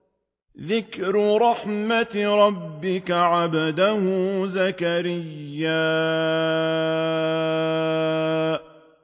ذِكْرُ رَحْمَتِ رَبِّكَ عَبْدَهُ زَكَرِيَّا